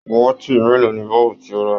Waati mélòó ní bọ́ọ̀bu ti o ra?